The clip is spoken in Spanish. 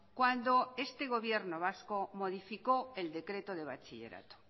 cuando este gobierno vasco modificó el decreto de bachillerato